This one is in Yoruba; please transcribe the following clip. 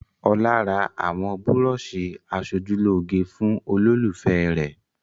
Ọlá ra àwọn búrọ́ṣì aṣojúlóge fún olólùfẹ́ rẹ̀.